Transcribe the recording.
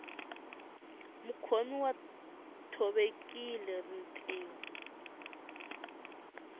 mukhomi u thovekile rinriho